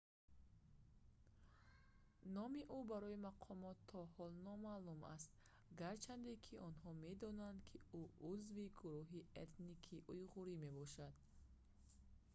номи ӯ барои мақомот то ҳол номаълум аст гарчанде ки онҳо медонанд ки ӯ узви гурӯҳи этникии уйғур мебошад